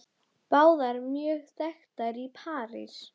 Báðar mjög þekktar hér í París.